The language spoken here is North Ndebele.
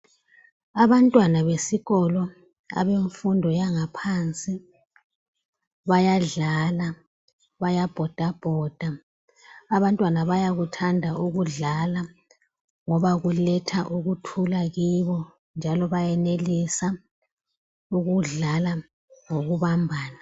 Abantwana besikolo abemfundo yangaphansi bayadlala, bayabhoda bhoda abantwana bayakuthanda ukudlala ngoba kuletha ukuthula kibo njalo benelisa ukudlala ngokubambana.